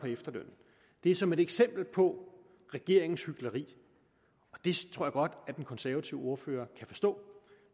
efterlønnen det er som et eksempel på regeringens hykleri og det tror at den konservative ordfører kan forstå